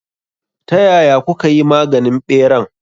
Ta yaya kukayi maganin ɓeran?